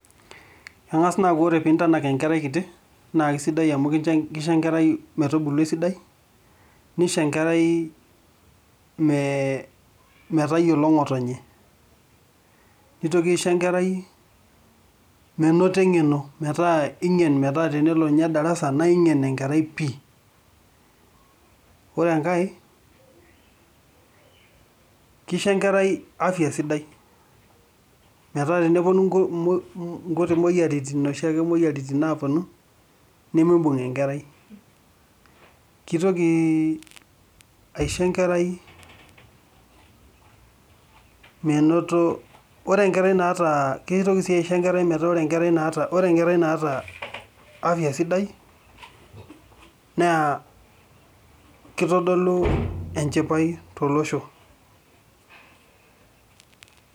Eng'as naa aaku kore piintanak enkerai kiti naa kesidai amu kite kisho enkerai metubulu esidai nisho enkerai mee metayiolo ng'otonye, nitoki isho enkerai menoto eng'eno metaa ing'en metaa tenelo nye darasa nae ng'en enkerai pii. Ore enkae kisho enkerai afya sidai metaa teneponu nku monkuti moyiaritin noshi ake moyiaritin naaponu nemiibung' enkerai. KItoki aisho enkerai menoto ore enkerai naata kitoki sii aisho enkerai metaa ore enkerai naata ore enkerai naata afya sidai naa kitodolu enchipai tolosho.